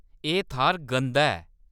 एह्‌‌ थाह्‌‌‌र गंदा ऐ।